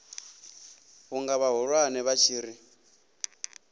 vhunga vhahulwane vha tshi ri